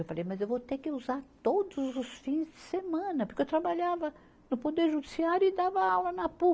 Eu falei, mas eu vou ter que usar todos os fins de semana, porque eu trabalhava no Poder Judiciário e dava aula na Pu.